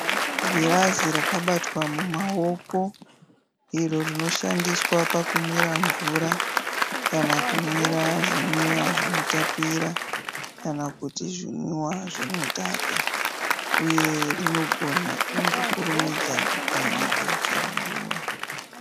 Girazi rakabatwa mumawoko iro rinoshandiswa pakumwira mvura kana kumwira zvimwiwa zvinotapira kana kuti zvimwiwa zvinodhaka uye rinogona kungokurumidza kupwanyika chero nguva.